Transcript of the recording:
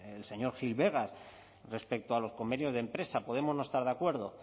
el señor gil vegas respecto a los convenios de empresa podemos no estar de acuerdo